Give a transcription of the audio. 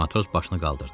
Matros başını qaldırdı.